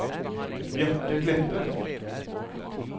Bjarte Kleppe